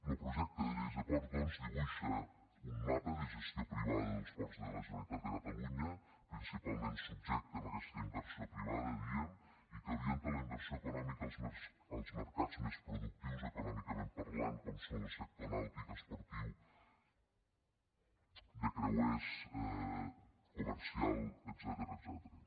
lo projecte de llei de ports doncs dibuixa un mapa de gestió privada dels ports de la generalitat de catalunya principalment subjecte a aquesta inversió privada dèiem i que orienta la inversió econòmica als mercats més productius econòmicament parlant com són lo sector nàutic esportiu de creuers comercial etcètera